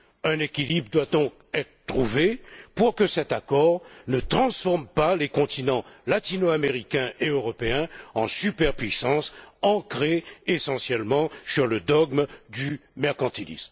Un équilibre doit donc être trouvé pour que cet accord ne transforme pas les continents latino américain et européen en superpuissances ancrées essentiellement sur le dogme du mercantilisme.